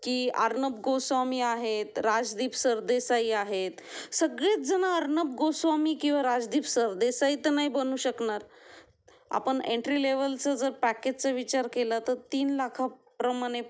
की अर्णब गोस्वामी आहेत, राजदीप सरदेसाई आहेत सगळेजण अर्णब गोस्वामी किंवा राजदीप सरदेसाई तर नाही बनू शकणार. आपण एंट्री लेव्हलचं जर पॅकेजचा विचार केला तर तीन लाखांप्रमाणे